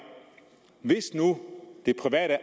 hvis nu det private